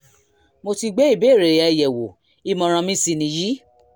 mo ti gbé ìbéèrè rẹ yẹ̀wò ìmọ̀ràn mi sì nìyí